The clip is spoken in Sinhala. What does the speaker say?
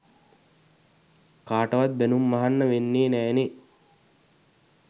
කාටවත් බැනුම් අහන්න වෙන්නෙ නෑ නේ.